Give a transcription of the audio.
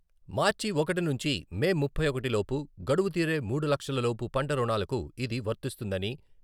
మార్చి ఒకటి నుంచి మే ముప్పై ఒకటి లోపు గడువు తీరే మూడు లక్షల లోపు పంట రుణాలకు ఇది వర్తిస్తుందని...